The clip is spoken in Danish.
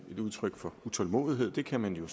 et udtryk for utålmodighed det kan man jo